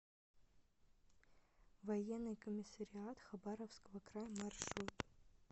военный комиссариат хабаровского края маршрут